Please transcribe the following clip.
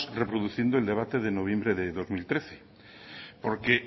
reproduciendo el debate de noviembre de dos mil trece porque